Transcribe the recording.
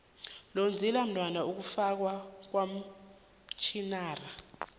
lolzila mnwana ikufakwa kwakomtjhinara